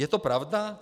Je to pravda?